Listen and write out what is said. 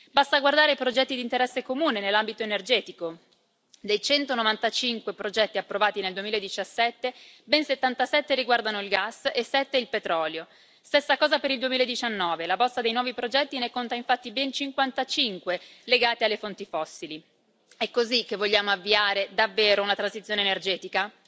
Basta guardare ai progetti di interesse comune nell'ambito energetico dei 195 progetti approvati nel 2017, ben 77 riguardano il gas e 7 il petrolio. Stessa cosa per il 2019, la bozza dei nuovi progetti ne conta infatti ben 55 legati alle fonti fossili. È così che vogliamo avviare davvero una transizione energetica?